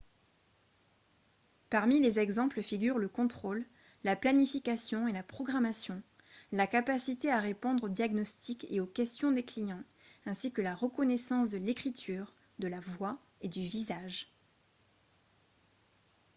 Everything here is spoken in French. parmi les exemples figurent le contrôle la planification et la programmation la capacité à répondre aux diagnostics et aux questions des clients ainsi que la reconnaissance de l'écriture de la voix et du visage